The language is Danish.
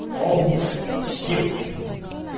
Århus Stift